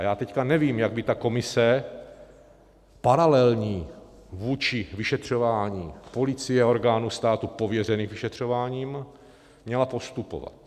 A já teď nevím, jak by ta komise, paralelní vůči vyšetřování policie a orgánů státu pověřených vyšetřováním, měla postupovat.